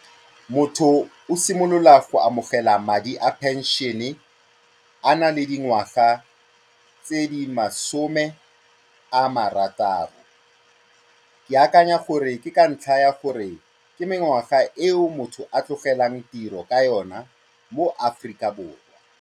Motho o simolola go amogela madi a pension-e a na le dingwaga tse di masome a marataro. Ke akanya gore ke ka ntlha ya gore ke mengwaga eo motho a tlogelang tiro ka yona mo Aforika Borwa.